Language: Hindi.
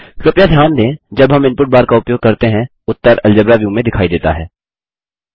कृपया ध्यान दें जब हम इनपुट बार का उपयोग करते हैं उत्तर अलजेब्रा व्यू में दिखाई देता है